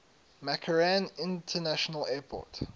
mccarran international airport